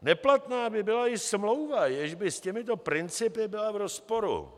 Neplatná by byla i smlouva, jež by s těmito principy byla v rozporu.